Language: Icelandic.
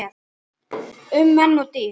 Um menn og dýr